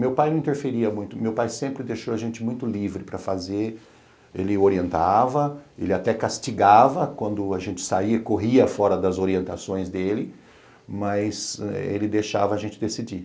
Meu pai não interferia muito, meu pai sempre deixou a gente muito livre para fazer, ele orientava, ele até castigava quando a gente saía, corria fora das orientações dele, mas ele deixava a gente decidir.